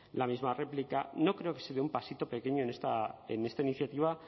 la misma réplica no creo que se dé un pasito pequeño en esta iniciativa